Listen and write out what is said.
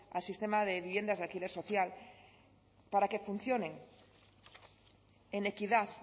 al sistema de viviendas de alquiler social para que funcionen en equidad